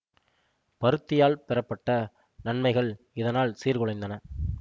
பருத்தியால் பெறப்பட்ட நன்மைகள் இதனால் சீர்குலைந்தன